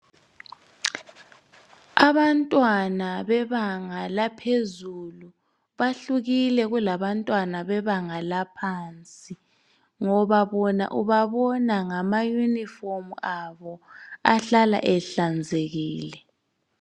Abantwana bebanga laphezulu bahlukile kulabantwana bebanga laphansi, ngoba bona ubabona ngamayunifomu abo ahlala ehlanzekile.